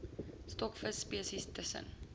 stokvis spesies tussen